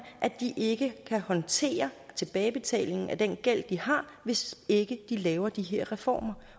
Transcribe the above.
at de ikke kan håndtere tilbagebetalingen af den gæld de har hvis ikke de laver de her reformer